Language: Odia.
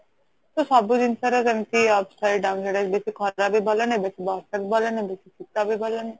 ତ ସବୁ ଜିନସ ର ସେମିତି upside downside ଅଛି ବେଶି ଖରା ବି ଭଲ ନୁହେଁ ବେଶି ବର୍ଷା ବି ଭଲ ନୁହେଁ ବେସୀ ଶୀତ ବି ଭଲ ନୁହେଁ